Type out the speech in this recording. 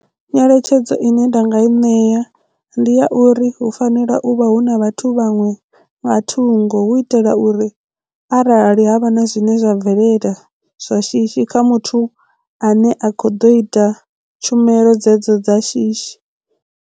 Nyeletshedzo ine nda nga i ṋea ndi ya uri hu fanela u vha hu na vhathu vhaṅwe nga thungo hu itela uri arali havha na zwine zwa bvelela zwa shishi kha muthu ane a khou ḓo ita tshumelo dzedzo dza shishi.